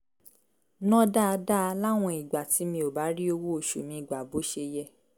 ná dáadáa láwọn ìgbà tí mi ò bá rí owó oṣù mi gbà bó ṣe yẹ